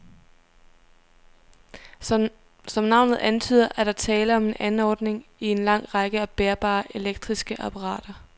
Som navnet antyder, er der tale om en anordning i en lang række af bærbare elektriske apparater.